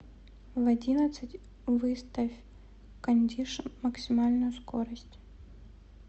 в одиннадцать выставь кондишн максимальную скорость